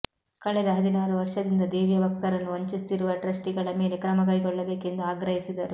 ಕಳೆದ ಹದಿನಾರುವರ್ಷದಿಂದ ದೇವಿಯ ಭಕ್ತರನ್ನು ವಂಚಿಸುತ್ತಿರುವ ಟ್ರಸ್ಟಿಗಳ ಮೇಲೆ ಕ್ರಮ ಕೈಗೊಳ್ಳಬೇಕೆಂದು ಆಗ್ರಹಿಸಿದರು